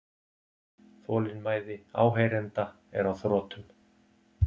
Þolinmæði áheyrenda er á þrotum.